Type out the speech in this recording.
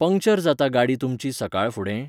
Puncture जाता गाडी तुमची सकाळ फुडें?